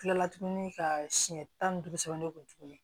Kila la tuguni ka siɲɛ tan ni duuru sɛbɛn ne kun tuguni